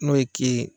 N'o ye ke